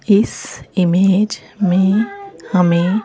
इस इमेज में हमें--